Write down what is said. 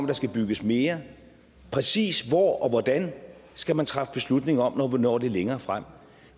der skal bygges mere præcis hvor og hvordan skal man træffe beslutning om når vi når lidt længere frem